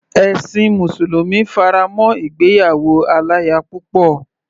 Ẹ̀sin mùsùlùmí fará mọ́ ìgbéyàwó aláya púpọ̀.